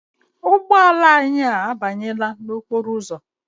Ụgbọala anyị a banyela n'okporo ụzọ.